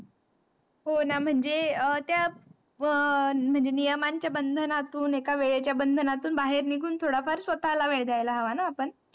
होणा, म्हणजे अह त्या अह प म्हनजे नियमाच्या बंधनातून एका वेळेच्या बंधनातून बाहेर निघून थोडाफार स्वतःला वेळ द्यायला हवा ना आपण?